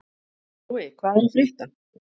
Brói, hvað er að frétta?